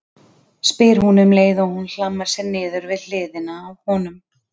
spyr hún um leið og hún hlammar sér niður við hliðina á honum.